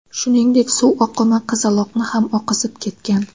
Shuningdek, suv oqimi qizaloqni ham oqizib ketgan.